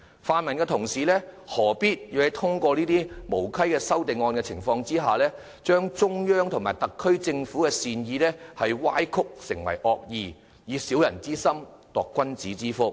泛民同事何必利用這些無稽的修正案，把中央和特區政府的善意歪曲為惡意，以小人之心度君子之腹？